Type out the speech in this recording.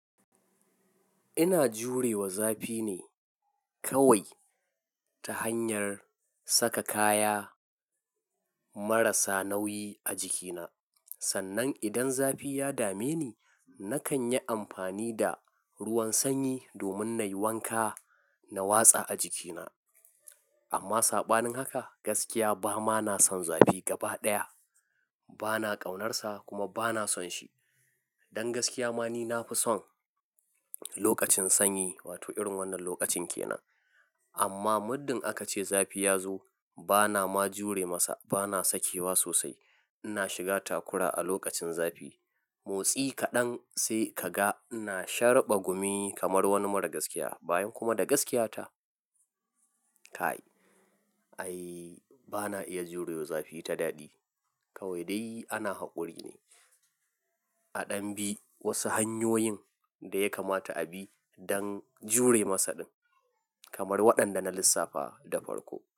Ina jurewa zafi ne kawai ta hanyar saka kaya marasa nauyi a jikina. Sannan idan zafi ya dame ni, nakan yi amfani da ruwan sanyi domin na yi wanka na watsa a jikina. Amma saɓanin haka gaskiya ba ma na son zafi gaba ɗaya. Ba na ƙaunarsa kuma ba na son shi. Don gaskiya ma ni na fi son lokacin sanyi wato irin wannan lokacin ke nan. Amma muddin aka ce zafi ya zo, bana ma jure masa, bana sakewa sosai. Ina shiga takura a lokacin zafi. Motsi kaɗan sai ka ga ina sharɓa gumi kamar wani mara gaskiya bayan kuma da gaskiyata. Kai, ai bana iya jurewa zafi ta daɗi kawai dai ana haƙuri ne. A ɗan bi wasu hanyoyin da ya kamata a bi don jure masa ɗin kamar waɗanda na lissafa da farko.